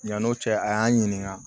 Yan'o cɛ a y'an ɲininka